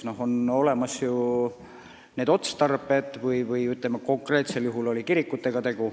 On ju olemas teatud otstarbed ja konkreetsel juhul on tegu kirikutega.